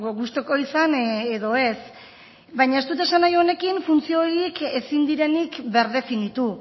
gustuko izan edo ez baina ez dut esan nahi honekin funtzio horiek ezin direnik birdefinitu